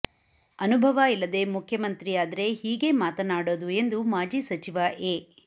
ಅನುಭವ ಇಲ್ಲದೆ ಮುಖ್ಯಮಂತ್ರಿಯಾದ್ರೆ ಹೀಗೆ ಮಾತನಾಡೋದು ಎಂದು ಮಾಜಿ ಸಚಿವ ಎ